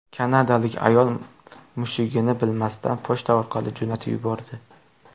Kanadalik ayol mushugini bilmasdan pochta orqali jo‘natib yubordi.